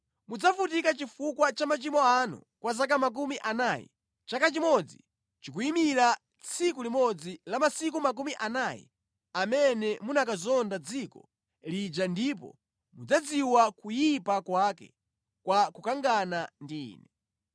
Mudzavutika chifukwa cha machimo anu kwa zaka makumi anayi Chaka chimodzi chikuyimira tsiku limodzi la masiku makumi anayi amene munakazonda dziko lija ndipo mudzadziwa kuyipa kwake kwa kukangana ndi Ine.’